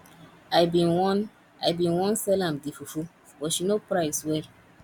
i bin wan i bin wan sell am the fufu but she no price well